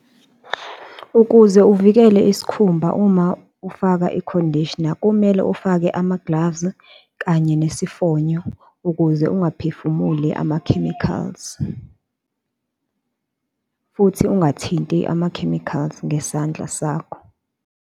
Ukuze uvikele isikhumba uma ufaka ikhondishina, kumele ufake ama-gloves kanye nesifonyo, ukuze ungaphefumuli ama-chemicals, futhi engathinti ama-chemicals ngesandla sakho.